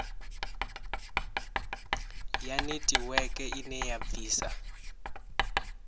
ya netiweke ine ya bvisa